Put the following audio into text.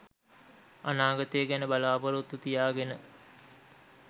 අනාගතය ගැන බලා‍පොරොත්තු තියාගෙන